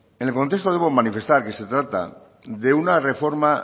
en el contexto debo manifestar que se trata de una reforma